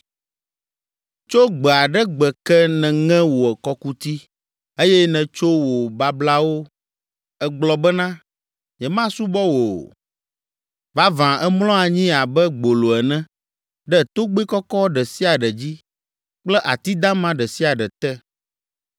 “Tso gbe aɖe gbe ke nèŋe wò kɔkuti, eye nètso wò bablawo, ègblɔ bena, ‘Nyemasubɔ wò o!’ Vavã, èmlɔ anyi abe gbolo ene ɖe togbɛ kɔkɔ ɖe sia ɖe dzi kple ati dama ɖe sia ɖe te.